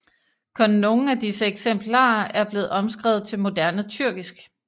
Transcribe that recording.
Kun nogle af disse eksemplarer er blevet omskrevet til moderne tyrkisk